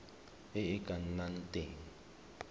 e e ka nnang teng